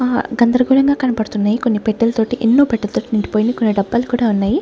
ఆ గందరగోళంగా కనపడుతున్నయి కొన్ని పెట్టెల తోటి ఎన్నో పెట్టెలతోటి నిండిపోయింది కొన్ని డబ్బాలు కూడా ఉన్నయి.